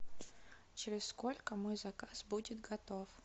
через сколько мой заказ будет готов